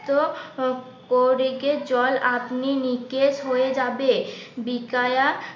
করে গিয়ে জল আপনি নিকেশ হয়ে যাবে বিকায়া